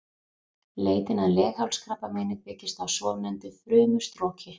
Leitin að leghálskrabbameini byggist á svonefndu frumustroki.